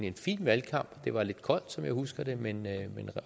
en fin valgkamp det var lidt koldt som jeg husker det men